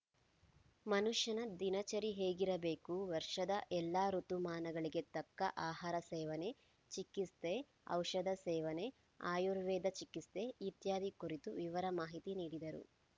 ಮನುಷ್ಯನ ದಿನಚರಿ ಹೇಗಿರಬೇಕು ವರ್ಷದ ಎಲ್ಲಾ ಋುತುಮಾನಗಳಿಗೆ ತಕ್ಕ ಆಹಾರ ಸೇವನೆ ಚಿಕಿತ್ಸೆಔಷಧ ಸೇವನೆ ಆಯುರ್ವೇದ ಚಿಕಿತ್ಸೆ ಇತ್ಯಾದಿ ಕುರಿತು ವಿವರ ಮಾಹಿತಿ ನೀಡಿದರು